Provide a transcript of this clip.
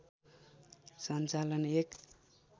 सञ्चालन एक